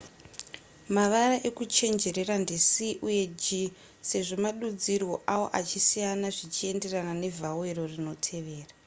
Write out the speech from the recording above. mavara ekuchenjerera ndi c uye g sezvo madudzirwo awo achisiyana zvienderana nevhawero rinotevera